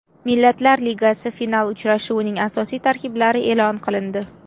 Millatlar Ligasi final uchrashuvining asosiy tarkiblari e’lon qilindi.